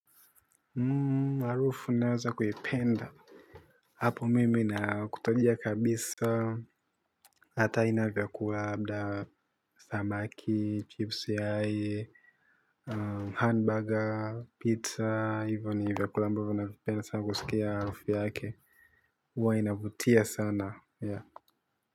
Harufu naweza kuipenda. Apo mimi na kutajia kabisa. Hata inavyakuwa mda samaki, chips yae Hamburger, pizza, even ni vyakula ambavo na vipenda sana kusikia warufu yaake. Uwa inavutia sana ya kwa hivyo.